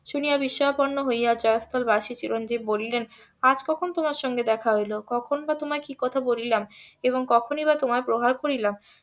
শুনিয়া বিস্ময়াপন্ন হইয়া . চিরঞ্জিব বলিলেন আজ কখন তোমার সঙ্গে দেখা হইলো কখন বা তোমায় কি কথা বলিলাম এবং কখনই বা তোমায় প্রহার করিলাম?